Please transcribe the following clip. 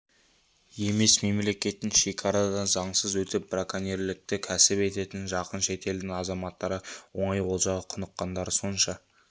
емес мемлекеттік шекарадан заңсыз өтіп браконьерлікті кәсіп ететін жақын шетелдің азаматтары оңай олжаға құныққандары сонша